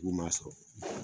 K'u m'a sɔrɔ